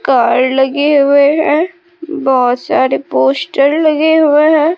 Car लगे हुए हैं बहोत सारे पोस्टर लगे हुए हैं।